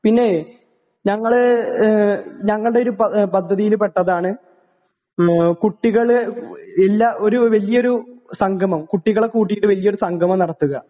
പിന്നേ ഞങ്ങള് ഏഹ് ഞങ്ങൾടെയൊരു പ പദ്ധതിയിൽ പെട്ടതാണ് ഉം കുട്ടികള് എല്ലാ ഒരു വല്ല്യൊരു സംഗമം കുട്ടികളെ കൂട്ടീട്ട് വല്യൊരു സംഗമം നടത്ത്ക.